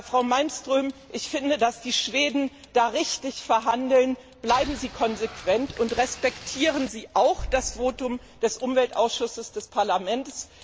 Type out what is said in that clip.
Frau Malmström, ich finde, dass die Schweden da richtig verhandeln, bleiben Sie konsequent und respektieren Sie auch das Votum des Umweltausschusses des Parlaments.